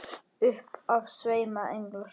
Upp af sveima englar.